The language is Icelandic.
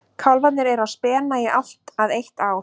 Kálfarnir eru á spena í allt að eitt ár.